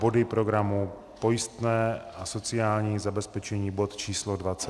Body programu - pojistné na sociální zabezpečení, bod číslo 25, a dále.